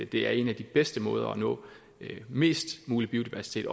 det er en af de bedste måder at opnå mest mulig biodiversitet